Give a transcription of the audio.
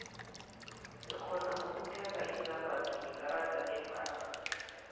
sirhona ukutheiga izombatho ngekarada lebhangeni